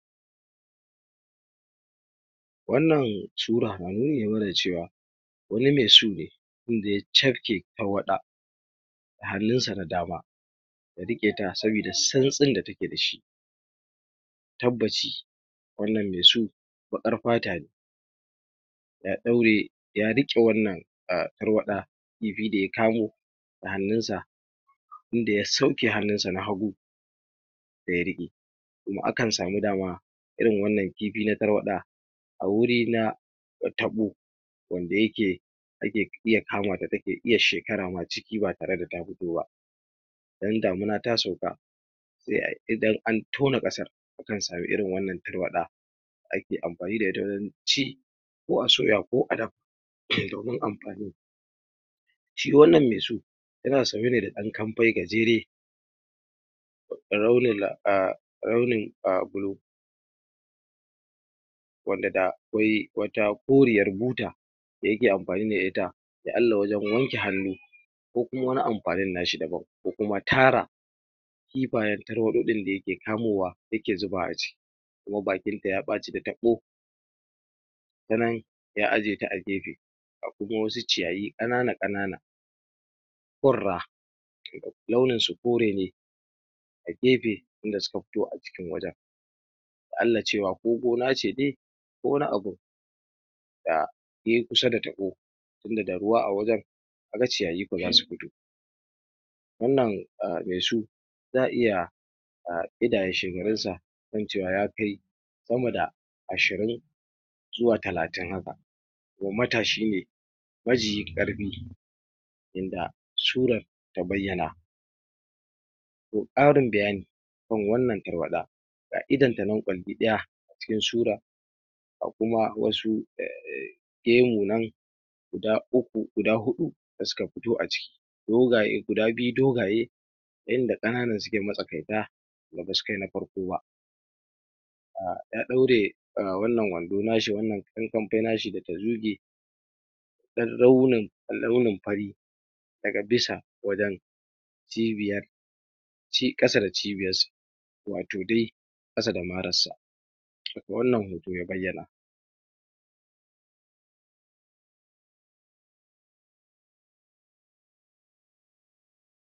Wannan sura wanene mara cewa wani me su ne inda ya cafke Tarwaɗa a hunnan sa na dama ya rike ta sabida tsantsin da take dashi tabaci wannan me su baƙar fata ne ya ɗaure ya rike wannan um tarwaɗa kifi daya kamo da hannun sa inda ya sauke hannunsa na hagu daya rike kuma akan samu dama irin wannan na kifi tarwaɗa a wurina na taɓo wanda yake yake iya kamata take iya shekara ma ciki ba tareda ta fito ba dan damuna ta sauka se ayi idan an tona ƙasar akan samu irin wanan tarwaɗa ake amfani da ita wajan ci ko a soya ko adafa ke dahun amfani shi wannan me su yana sanye ne da ɗan kamfay gajere launin launin wanda da akwai wata koriyar buta dayake amfani da ita dan Allah wajan wanke hannu ko kuma wani amfani na shi daban ko kuma tara kifayan tarwaɗa ɗin dayake kamowa yake zubawa a ciki kuma bakinta ya ɓace da taɓo ya ajiye ta a gefe a gurun wasu ciyayi kanana-kanana fura launin su kore ne a gefe inda suka fito a cikin wajan harkanlan cewa ko gona ce de ko wani abun da yayi kusa da taɓo tunda da ruwa a wajan kaga ciyayi ko zasu fito wannan um me su za'a iya um ida yashe garinsa ko incewa ya kai sama da ashirin zuwa talatin haka wa matashi me majiyi karfi inda surar ta bayana ko ƙarin bayani kan wanan tarwaɗa ga indanta nan kwandi ɗaya cikin sura ga kuma wasu um guda uku, guda huɗu da suka fito a ciki kuma ga guda biyu dogaye inda kananan sukayi masakaita da basu kai na farko ba um ya ɗaure um wannan wando nashi wannan ɗan kampay nashi da tazuge ɗan alunin, launin fari daga bisa wajan cibiyar shi ƙasa da cibiyan shi watau de ƙasa da mara sa wannan hoto ya bayana.